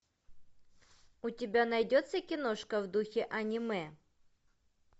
у тебя найдется киношка в духе аниме